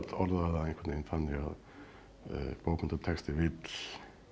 orðaði það einhvern veginn þannig að bókmenntatexti vill